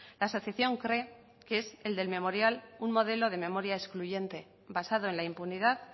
la asociación cree que es el del memorial un modelo de memoria excluyente basado en la impunidad